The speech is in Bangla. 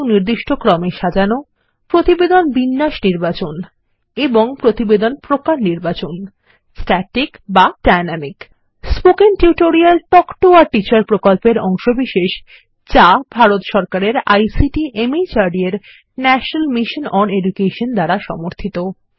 এবংপ্রতিবেদন প্রকার নির্বাচন160 স্ট্যাটিক বা dynamic spoken tutorial talk to a teacher প্রকল্পের অংশবিশেষযাভারত সরকারের আইসিটি মাহর্দ এর ন্যাশনাল মিশন ওন এডুকেশন দ্বারা সমর্থিত